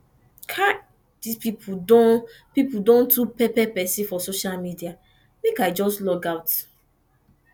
kai dis pipu don pipu don too pepper pesin for social media make i just logout